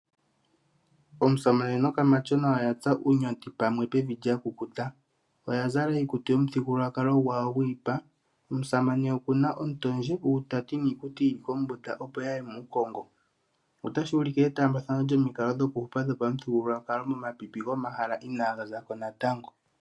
Omusamane nokamatyona oya tsa uunyonti pamwe pevi lya kukuta. Oya zala iikutu yopamuthigululwakalo gwawo gwiipa. Omusamane oku na ontoondje, uutaati niikuti yi li kombunda, opo ya ye muukongo. Otashi ulike etaambathano lyomikalo dhokuhupa dhopamuthigululwakalo momapipi gomahala inaaga za ko natango.